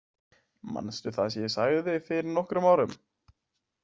Manstu það sem ég sagði fyrir nokkrum árum?